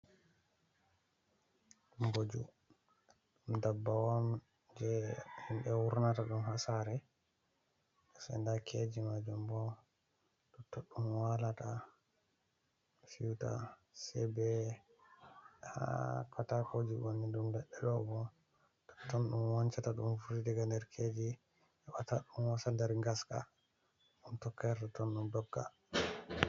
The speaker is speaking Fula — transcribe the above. Mboju ɗum dabbawan je himɓe wurnata ɗum hasare, seda keji majum bo tettoɗuɗum walata siwta, se ɓe ha katakoji maibo ɗum ɓedde dobo totton ɗum wancata ɗum furi daga nder keji heɓata ɗum wosa nder ngaska ɗum tokkerta ton ɗum dogga.